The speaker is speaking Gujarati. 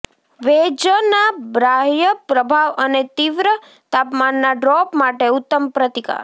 ભેજના બાહ્ય પ્રભાવ અને તીવ્ર તાપમાનના ડ્રોપ માટે ઉત્તમ પ્રતિકાર